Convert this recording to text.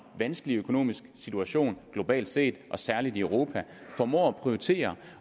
vanskelig økonomisk situation globalt set og særlig i europa formår at prioritere